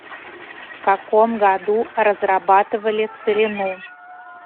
в каком году разрабатывали целину